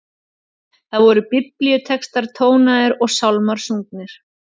Þar voru biblíutextar tónaðir og sálmar sungnir.